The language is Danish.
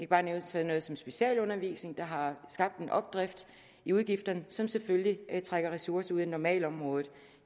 bare nævne sådan noget som specialundervisning der har skabt en opdrift i udgifterne som selvfølgelig trækker ressourcer normalområdet